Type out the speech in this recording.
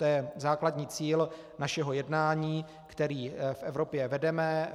To je základní cíl našeho jednání, které v Evropě vedeme.